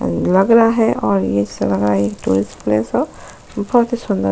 लग रहा हैं टुरिस्ट प्लेस हो बहुत ही सुंदर --